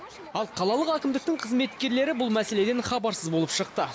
ал қалалық әкімдіктің қызметкерлері бұл мәселеден хабарсыз болып шықты